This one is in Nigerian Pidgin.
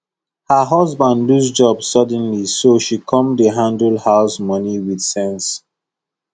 her husband lose job suddenly so she come dey handle house money with sense